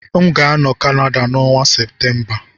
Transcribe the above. M ga-anọ na Canada n'ọnwa Septemba